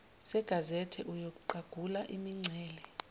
segazethe uyoqagula imingcele